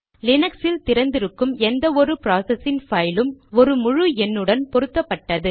லீனக்ஸில் திறந்திருக்கும் எந்த ஒரு ப்ராசசின் பைலும் ஒரு முழு எண்ணுடன் பொருத்தப்பட்டது